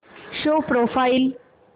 show profile